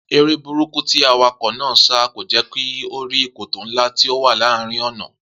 Eré burúkú tí awakò̩ náà ń sá kò jé̩ kí ó rí kòtò ńlá tí ó wà láàárín ò̩nà